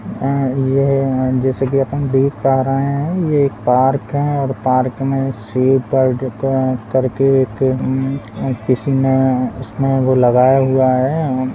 यह जैसा कि हम देख पा रहे है यह एक पार्क है और पार्क में सेव बर्ड करके एक किसी ने वह लगाया हुआ है।